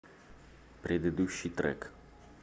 предыдущий трек